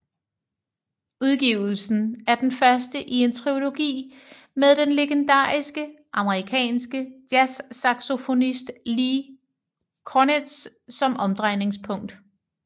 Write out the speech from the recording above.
Udgivelsen er den første i en triologi med den legendariske amerikanske jazzsaxofonist Lee Konitz som omdrejningspunkt